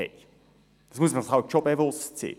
dessen muss man sich bewusst sein.